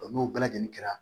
n'o bɛɛ lajɛlen kɛra